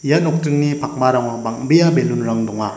ia nokdingni pakmarango bang·bea balloon-rang donga.